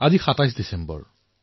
আজি ২৭ দিচেম্বৰ